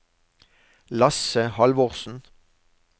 Lasse Halvorsen